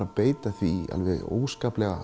að beita því